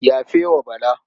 Yafe wa Bala.